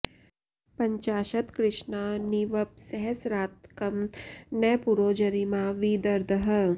प॒ञ्चा॒शत्कृ॒ष्णा नि व॑पः स॒हस्रात्कं॒ न पुरो॑ जरि॒मा वि द॑र्दः